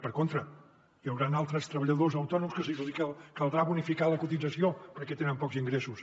per contra hi hauran altres treballadors autònoms que se’ls hi caldrà bonificar la cotització perquè tenen pocs ingressos